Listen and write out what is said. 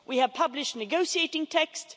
We have published negotiating texts.